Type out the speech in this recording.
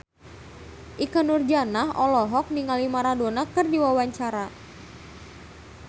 Ikke Nurjanah olohok ningali Maradona keur diwawancara